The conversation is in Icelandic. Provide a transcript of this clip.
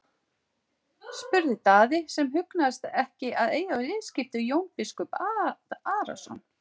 spurði Daði sem hugnaðist ekki að eiga skipti við Jón biskup Arason.